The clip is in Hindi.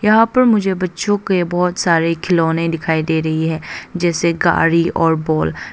यहां पर मुझे बच्चो के बहोत सारे खिलौने दिखाई दे रही है जैसे गाड़ी और बॉल ।